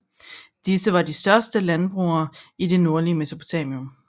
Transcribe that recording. Disse var de første landbrugere i det nordligste Mesopotamien